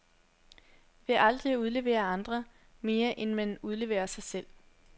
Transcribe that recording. Ved aldrig at udlevere andre, mere end man udleverer sig selv.